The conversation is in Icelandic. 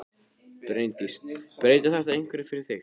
Bryndís: Breytir þetta einhverju fyrir þig?